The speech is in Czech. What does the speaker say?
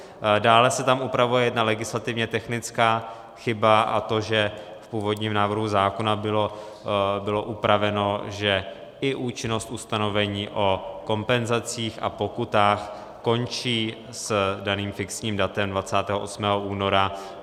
Dále se tam upravuje jedna legislativně technická chyba, a to že v původním návrhu zákona bylo upraveno, že i účinnost ustanovení o kompenzacích a pokutách končí s daným fixním datem 28. února.